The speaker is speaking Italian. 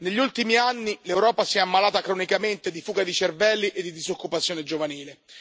Negli ultimi anni l'Europa si è ammalata cronicamente di fuga di cervelli e di disoccupazione giovanile.